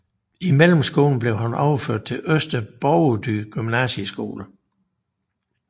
I mellemskolen blev han overført til Øster Borgerdyd Gymnasieskole